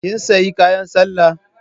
Kin sayi kayan sallar?